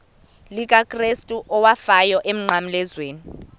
likakrestu owafayo emnqamlezweni